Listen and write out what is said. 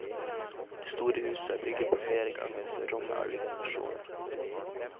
Det store huset er bygget på flere ganger for å romme alle generasjoner.